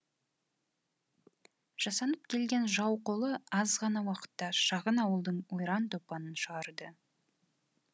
жасанып келген жау қолы аз ғана уақытта шағын ауылдың ойран топанын шығарды